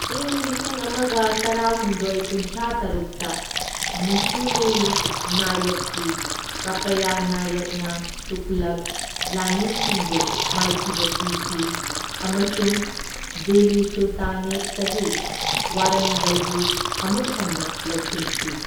ꯏꯪ ꯂꯤꯁꯤꯡ ꯑꯃꯒ ꯇꯔꯥꯍꯨꯝꯗꯣꯢ ꯀꯨꯟꯊ꯭ꯔꯥ ꯇꯔꯨꯛꯇ ꯃꯨꯁꯨꯅꯨꯔꯤ ꯅꯥꯌꯛꯀꯤ ꯀꯄꯥꯌꯥ ꯅꯥꯌꯛꯅ ꯇꯨꯒꯂꯛ ꯂꯥꯟꯃꯤꯁꯤꯡꯕꯨ ꯃꯥꯏꯊꯤꯕ ꯄꯤꯈꯤ ꯑꯃꯁꯨꯡ ꯗꯤꯜꯂꯤ ꯁꯨꯜꯇꯥꯅꯦꯠꯇꯒꯤ ꯋꯥꯔꯪꯒꯜꯕꯨ ꯑꯃꯨꯛ ꯍꯟꯅ ꯂꯧꯁꯤꯟꯈꯤ꯫